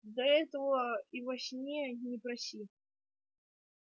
да этого и во сне не проси